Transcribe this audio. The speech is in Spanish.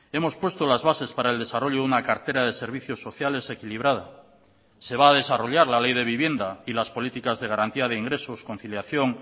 hemos puesto las bases para el desarrollo de una cartera de servicios sociales equilibrada se va a desarrollar la ley de vivienda y las políticas de garantía de ingresos conciliación